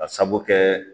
Ka sabu kɛ